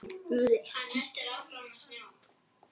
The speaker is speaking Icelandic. Engir frekari stormar og styrjaldir!